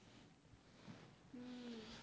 હમ